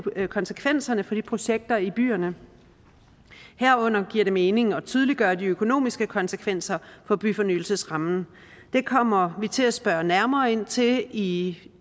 konsekvenserne for projekterne i byerne herunder giver det mening at tydeliggøre de økonomiske konsekvenser for byfornyelsesrammen det kommer vi til at spørge nærmere ind til i